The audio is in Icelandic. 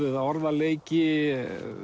eða orðaleiki